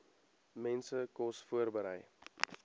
mense kos voorberei